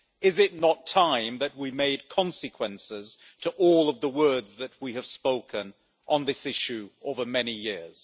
Is it not time that we made consequences to all of the words that we have spoken on this issue over many years?